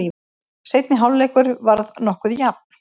Seinni hálfleikur var nokkuð jafn.